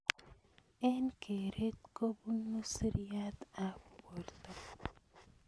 Eng keret kobunu siriat ab borto.